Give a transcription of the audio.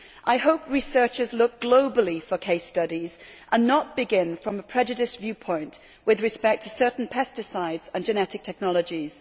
I hope researchers look globally for case studies and do not begin from a prejudiced viewpoint with respect to certain pesticides and genetic technologies.